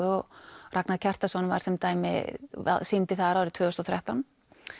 og Ragnar Kjartansson var sem dæmi sýndi þar árið tvö þúsund og þrettán